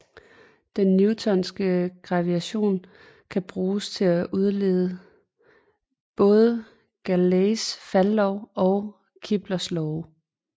Den newtonske gravitation kan bruges til at udlede både Galileis faldlov og Keplers love